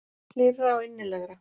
Hlýrra og innilegra.